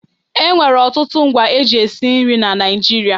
E nwere ọtụtụ ngwa e ji esi nrị na Naịjirịa.